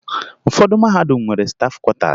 Ụfọdụ mahadum nwere stafụ kwọtaasi